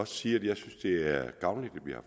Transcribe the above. sige at jeg synes det er gavnligt at vi har